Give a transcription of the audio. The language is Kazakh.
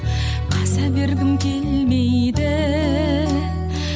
қаза бергім келмейді